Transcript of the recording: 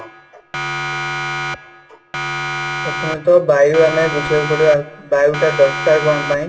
ପ୍ରଥମେ ତ ବାୟୁ ଆମେ ବୁଝିବାକୁ ପଡିବ ବାୟୁ ଟା ଦରକାର କ'ଣ ପାଇଁ ?